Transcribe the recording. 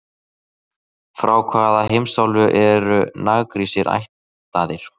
Frá hvaða heimsálfu eru Nagrísir ættaðir?